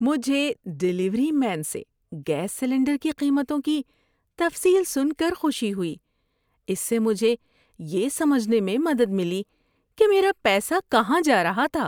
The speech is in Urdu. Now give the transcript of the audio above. مجھے ڈیلیوری مین سے گیس سلنڈر کی قیمتوں کی تفصیل سن کر خوشی ہوئی۔ اس سے مجھے یہ سمجھنے میں مدد ملی کہ میرا پیسہ کہاں جا رہا تھا۔